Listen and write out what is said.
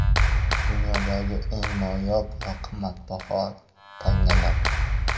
Dunyodagi eng noyob va qimmatbaho tangalar.